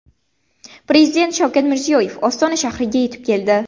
Prezident Shavkat Mirziyoyev Ostona shahriga yetib keldi.